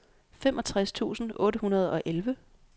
femogtres tusind otte hundrede og elleve